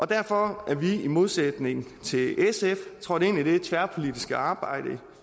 derfor er vi i modsætning til sf trådt ind i det tværpolitiske arbejde